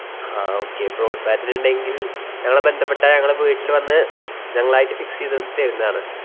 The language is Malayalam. ആഹ് okay broad band ഇണ്ടെങ്കിൽ ഞങ്ങളെ ബന്ധപെട്ടാ, ഞങ്ങള് വീട്ടില് വന്ന് ഞങ്ങളായിട്ട് fix എയ്ത് തെരുന്നതാണ്.